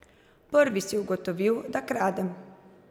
Prvi si ugotovil, da kradem.